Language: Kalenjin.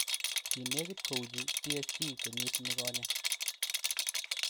Kinekit kouchi PSG kenyit nikonye.